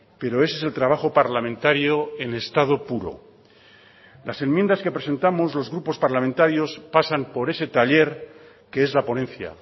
pero ese es el trabajo parlamentario en estado puro las enmiendas que presentamos los grupos parlamentarios pasan por ese taller que es la ponencia